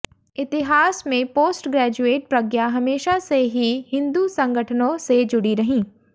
इतिहास में post graduate Pragya हमेशा से ही हिंदू संगठनों से जुड़ी रहीं